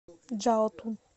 чжаотун